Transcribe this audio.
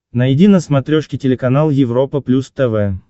найди на смотрешке телеканал европа плюс тв